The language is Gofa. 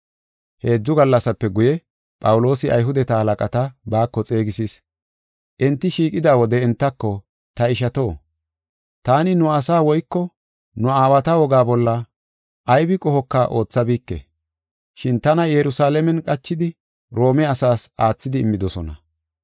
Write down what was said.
Heedzu gallasape guye, Phawuloosi Ayhudeta halaqata baako xeegisis. Enti shiiqida wode entako, “Ta ishato, taani nu asaa woyko nu aawata wogaa bolla aybi qohoka oothabike, shin tana Yerusalaamen qachidi Roome asaas aathidi immidosona.